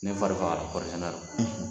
Ne fari fagala kɔri sɛnɛ la